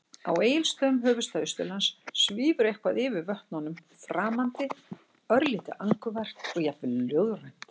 Á Egilsstöðum, höfuðstað Austurlands, svífur eitthvað yfir vötnum- eitthvað framandi, örlítið angurvært og jafnvel ljóðrænt.